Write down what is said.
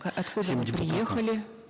откуда вы приехали